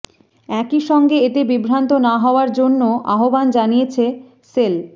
একই সঙ্গে এতে বিভ্রান্ত না হওয়ার জন্যও আহ্বান জানিয়েছে সেল